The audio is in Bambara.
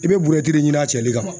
I be buruyɛti de ɲini a cɛli kama